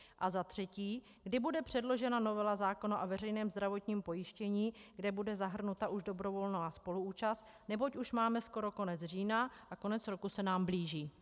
A za třetí, kdy bude předložena novela zákona o veřejném zdravotním pojištění, kde bude zahrnuta už dobrovolná spoluúčast, neboť už máme skoro konec října a konec roku se nám blíží.